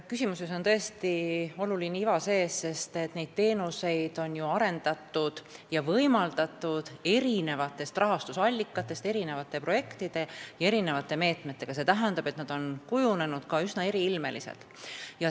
Küsimuses on tõesti iva sees, sest neid teenuseid on ju arendatud ja võimaldatud eri rahastusallikatest, erinevate projektide ja meetmetega, st need on üsna eriilmeliseks kujunenud.